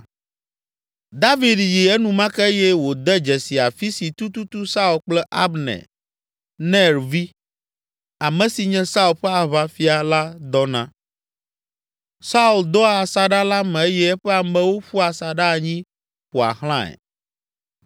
David yi enumake eye wòde dzesi afi si tututu Saul kple Abner, Ner vi, ame si nye Saul ƒe aʋafia la dɔna. Saul dɔa asaɖa la me eye eƒe amewo ƒua asaɖa anyi ƒoa xlãe.